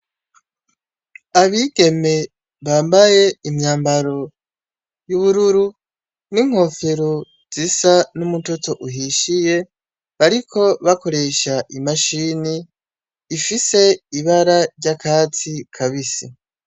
Abigeme bambaye imyambaro y'ubururu n'inkofero zisa n'umutoto uhishiye bariko bakoresha imashine ifise ibara ry'akatsi kabisi.